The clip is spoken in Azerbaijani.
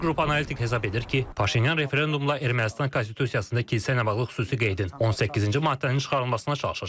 Bir qrup analitik hesab edir ki, Paşinyan referendumla Ermənistan konstitusiyasında kilsə ilə bağlı xüsusi qeydin, 18-ci maddənin çıxarılmasına çalışacaq.